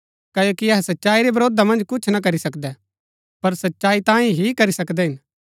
क्ओकि अहै सच्चाई रै विरोधा मन्ज कुछ ना करी सकदै पर सच्चाई तांयें ही करी सकदै हिन